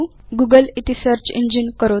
Google इति search engine करोतु